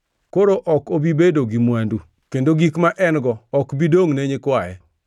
Koro ok obi bedo gi mwandu, kendo gik ma en-go ok bi dongʼ ne nyikwaye.